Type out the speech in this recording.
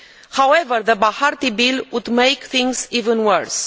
However, the Bahati Bill would make things even worse.